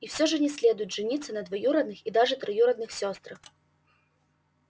и всё же не следует жениться на двоюродных и даже троюродных сёстрах